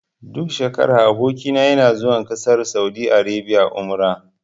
Duk shekara aboki na yana zuwa ƙasar saudi arabia umra.